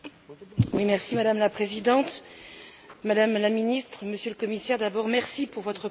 Madame la Présidente, Madame la Ministre, Monsieur le Commissaire, d'abord merci pour votre présentation.